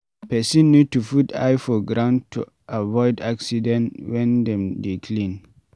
Person need to put eye for ground to avoid accident when dem dey clean